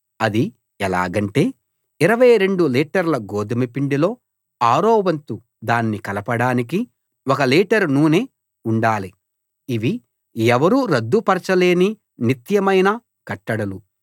అది ఎలాగంటే 22 లీటర్ల గోదుమ పిండిలో ఆరో వంతు దాన్ని కలపడానికి ఒక లీటరు నూనె ఉండాలి ఇవి ఎవరూ రద్దుపరచలేని నిత్యమైన కట్టడలు